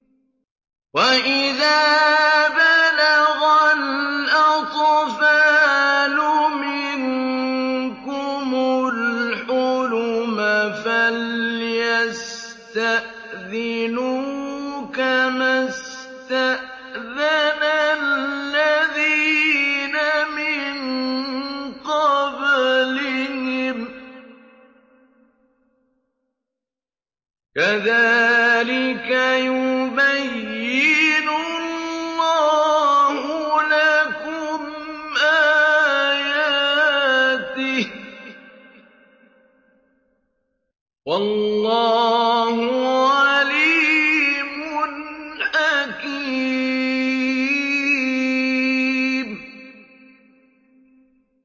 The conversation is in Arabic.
وَإِذَا بَلَغَ الْأَطْفَالُ مِنكُمُ الْحُلُمَ فَلْيَسْتَأْذِنُوا كَمَا اسْتَأْذَنَ الَّذِينَ مِن قَبْلِهِمْ ۚ كَذَٰلِكَ يُبَيِّنُ اللَّهُ لَكُمْ آيَاتِهِ ۗ وَاللَّهُ عَلِيمٌ حَكِيمٌ